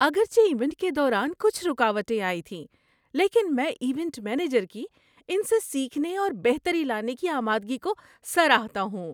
اگرچہ ایونٹ کے دوران کچھ رکاوٹیں آئی تھیں، لیکن میں ایونٹ مینیجر کی ان سے سیکھنے اور بہتری لانے کی آمادگی کو سراہتا ہوں۔